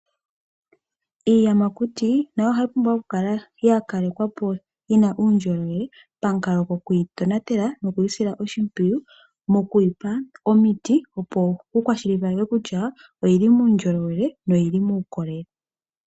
Iiyamakuti nayo ohayi pumbwa okukala ya kalekwapo yi na uundjolowele pamukalo gokwiitonatela nokwiisila oshimpwiyu mokwiipa omiti, opo ku kwashilipalekwe kutya oyili muundjolowele.